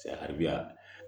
Ari ya